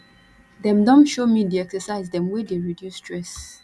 dem don show me di exercise dem wey dey reduce stress